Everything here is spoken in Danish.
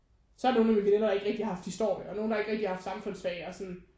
Så har nogle af mine veninder der ikke rigtig har haft historie og nogen der ikke rigtigt har haft samfundsfag og sådan